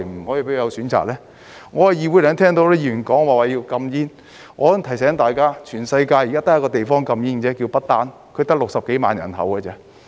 我剛才在議會聽到很多議員說要禁煙，我想提醒大家，全世界現時只有一個地方禁煙，那個地方叫不丹，只得60幾萬人口。